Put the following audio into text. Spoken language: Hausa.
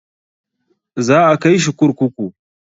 Za a kai shi kurkuku.